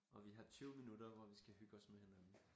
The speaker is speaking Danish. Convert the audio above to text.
Og vi har 20 minutter hvor vi skal hygge os med hinanden